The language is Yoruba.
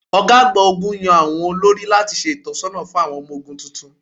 Ọ̀gá àgbà ogún yàn àwọn olórí láti ṣe ìtọ̀sọ́nà fún àwọn ọmọ ogún tuntun.